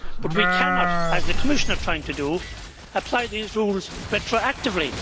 But we cannot, as the Commissioner is trying to do, apply these rules retroactively.